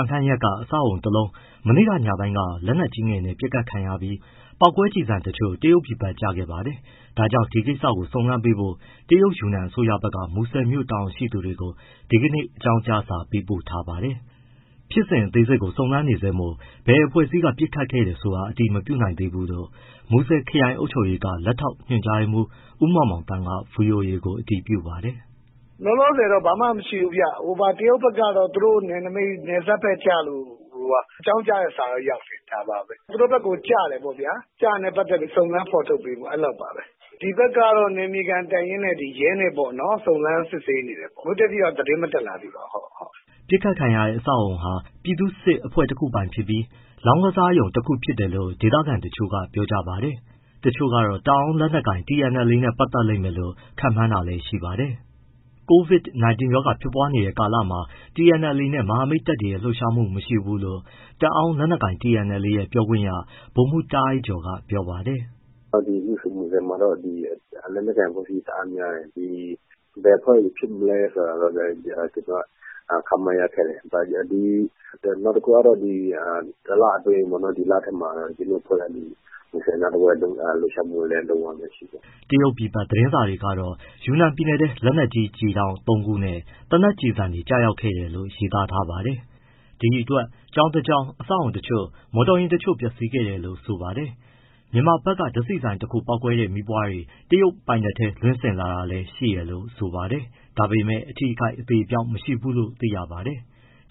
န်ခမ်းရပ်က အဆောက်အဦတလုံး မနေ့ကညပိုင်း က လက်နက်ကြီးငယ်နဲ့ ပစ်ခတ်ခံရပြီး အဲဒီက ပေါက်ကွဲကျည်တချို့ တရုတ်ပြည်ဘက်ကို ကျခဲ့ပါတာပါ။ ဒါကြောင့် ဒီကိစ္စကိုစုံစမ်းပေးဖို့ တရုတ်ယူနန် အစိုးရဘက်က မူဆယ်မြို့ တာဝန်ရှိသူတွေကို ဒီကနေ့ အကြောင်းကြားစာပေးပို့ထားပါတယ်။ ဖြစ်စဉ်အသေးစိတ်က စုံစမ်းနေဆဲမို့ ဘယ်အဖွဲ့အစည်းက ပစ်ခတ်ခဲ့တယ်ဆိုတာ အတည်မပြုနိုင်သေးဘူးလို့ မူဆယ်ခရိုင်အုပ်ချုပ်ရေးက လက်ထောက်ညွှန်ကြားမှူး ဦးမောင်မောင်သန်းက ဗွီအိုအေကို အတည်ပြုပါတယ်။ “ လောလောဆယ်တော့ ဘာမှမရှိဘူးဗျ၊ တရုတ်ဘက်ကတော့ သူတို့ နယ်နမိတ် နယ်စပ်ဘက်ကျလို့ အကြောင်းကြားတဲ့စာတော့ ရောက်တယ်။ သူတို့ဘက်ကို ကျတယ်ပေါ့ဗျာ၊ စုံစမ်းဖော်ထုတ်ပေးဖို့ အဲလောက်ပါပဲ။ ဒီဘက်ကတော့ နယ်မြေခံတပ်ရင်းနဲ့ ရဲနဲ့ ပေါ့နော် စုံစမ်းစစ်ဆေးနေတယ်။ အခုအထိတော့ သတင်းမတက်လာသေးပါဘူး။” အပစ်ခံရတဲ့ အဆောက်အဦဟာ ပြည်သူ့စစ်အဖွဲ့တခုပိုင်ဖြစ်ပြီး လောင်းကစားရုံတခုဖြစ်တယ်လို့ ဒေသခံတချို့က ပြောကြပါတယ်။ တချို့ကတော့ တအောင်းလက်နက်ကိုင် TNLA နဲ့ ပတ်သက်လိမ့်မယ်လို့ ခန့်မှန်းတာလည်းရှိပါတယ်။ COVID-19 ရောဂါဖြစ်ပွားနေတဲ့ကာလမှာ TNLD နဲ့ မဟာမိတ်တပ်တွေရဲ့ လှုပ်ရှားမှု မရှိဘူးလို့ တအောင်းလက်နက်ကိုင် TNLA ရဲ့ပြောခွင့်ရ ဗိုလ်မှူး တားအိုက်ကျော်က ပြောပါတယ်။ “ မူဆယ်မှာ လက်နက်ကိုင် အဖွဲ့အစည်း တအားများတယ်၊ ဘယ်အဖွဲ့တွေဖြစ်မလဲဆိုတာတော့ ကျနော်တို့ ခန့်မှန်းရခက်တယ်။ နောက်တခုက ဒီ တလအတွင်း ဒီလထဲမှာ မူဆယ်နားတဝိုက်လှုပ်ရှားမှုလည်း မရှိဘူး။” တရုတ်ပြည်ဘက်သတင်းစာတွေကတော့ ယူနန်ပြည်နယ်ထဲ လက်နက်ကြီးကျည်တောင့် ၃ခုနဲ့ သေနတ်ကျည်ဆံတွေကျခဲ့တယ်လို့ ရေးသားထားပါတယ်။ ဒီအတွက် ကျောင်းတကျောင်း၊ အဆောက်အဦးအချို့၊ မော်တော်ယာဉ်အချို့ပျက်စီးခဲ့တယ်လို့ဆိုပါတယ်။ မြန်မာဘက်က ဓါတ်ဆီဆိုင်တခု ပေါက်ကွဲတဲ့ မီးပွားတွေ တရုတ်ပိုင်နက်ထဲ လွှင့်စင်လာတာလည်းရှိတယ်လို့ဆိုပါတယ်။ ဒါပေမယ့် အထိအခိုက် အသေအပျောက် မရှိဘူးလို့ သိရပါတယ်။